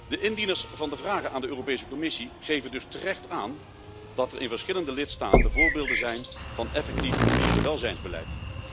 De indieners van de vragen aan de Europese Commissie geven dus terecht aan dat er in verschillende lidstaten voorbeelden zijn van effectief dierenwelzijnsbeleid.